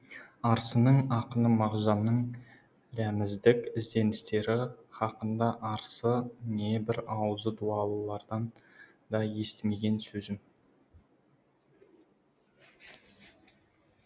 арсының ақыны мағжанның рәміздік ізденістері хақында арсы небір аузы дуалылардан да естімеген сөзім